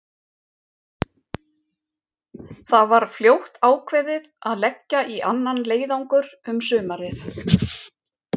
Það var fljótt ákveðið að leggja í annan leiðangur um sumarið.